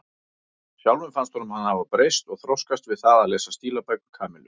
Sjálfum fannst honum hann hafa breyst og þroskast við það að lesa stílabækur Kamillu.